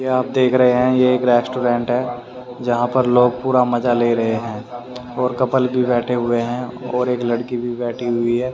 ये आप देख रहे हैं ये एक रेस्टोरेंट है जहां पर लोग पूरा मजा ले रहे हैं और कप्पल भी बैठे हुए हैं और एक लड़की भी बैठी हुई है।